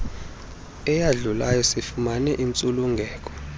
eyadlulayo sifumane intsulungeko